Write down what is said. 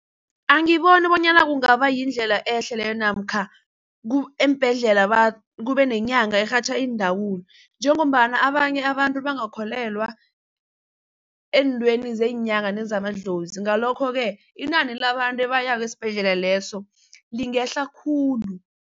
Angiboni bonyana kungaba yindlela ehle leyo namkha eembhedlela kubenenyanga erhatjha iindawula njengombana abanye abantu bangakholelwa eentweni zeenyanga nezamadlozi ngalokho-ke inani labantu ebayako esibhedlela leso lingehla khulu.